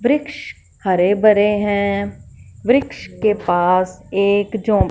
वृक्ष हरे भरे हैं वृक्ष के पास एक झो--